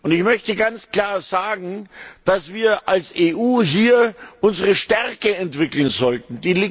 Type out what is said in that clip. Ich möchte ganz klar sagen, dass wir als EU hier unsere Stärke entwickeln sollten.